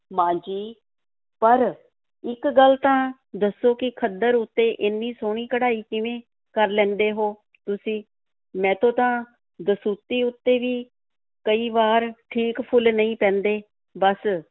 ਮਾਂ ਜੀ, ਪਰ ਇੱਕ ਗੱਲ ਤਾਂ ਦੱਸੋ ਕਿ ਖੱਦਰ ਉੱਤੇ ਏਨੀ ਸੋਹਣੀ ਕਢਾਈ ਕਿਵੇਂ ਕਰ ਲੈਂਦੇ ਹੋ ਤੁਸੀਂ? ਮੈਥੋਂ ਤਾਂ ਦਸੂਤੀ ਉੱਤੇ ਵੀ ਕਈ ਵਾਰ ਠੀਕ ਫੁੱਲ ਨਹੀਂ ਪੈਂਦੇ ਬਸ,